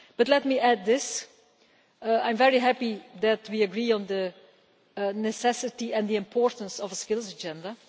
But let me add this I am very happy that we agree on the necessity and the importance of a Skills Agenda.